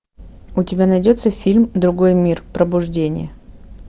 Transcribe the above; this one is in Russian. у тебя найдется фильм другой мир пробуждение